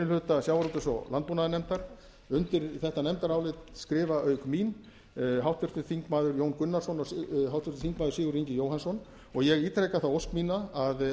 hluta sjávarútvegs og landbúnaðarnefndar undir þetta nefndarálit skrifa auk mín háttvirtir þingmenn jón gunnarsson og sigurður ingi jóhannsson ég ítreka þá ósk mína að